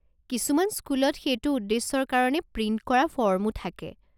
কিছুমান স্কুলত সেইটো উদ্দেশ্যৰ কাৰণে প্ৰিণ্ট কৰা ফৰ্মো থাকে।